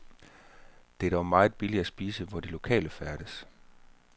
Det er dog meget billigt at spise, hvor de lokale færdes.